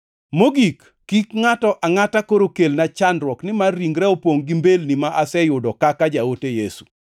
Mogik, kik ngʼato angʼata koro kelna chandruok, nimar ringra opongʼ gi mbelni ma aseyudo kaka jaote Yesu.